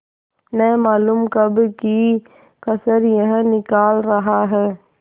न मालूम कब की कसर यह निकाल रहा है